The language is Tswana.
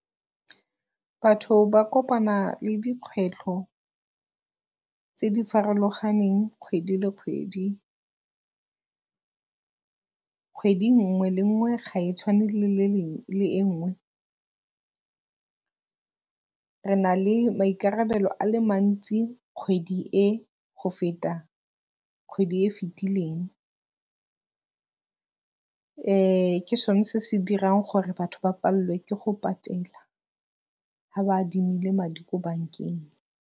Batho ba kopana le dikgwetlho tse di farologaneng kgwedi le kgwedi. Kgwedi nngwe le nngwe ga e tshwane le e nngwe. Re na le maikarabelo a le mantsi kgwedi e go feta kgwedi e e fetileng. ke sone se se dirang gore batho ba palelwe ke go patela ga ba adimile madi ko bankeng.